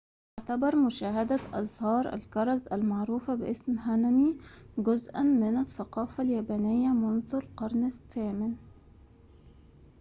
تعتبر مشاهدة أزهار الكرز-المعروفة باسم هانامي جزءاً من الثقافة اليابانية منذ القرن الثامن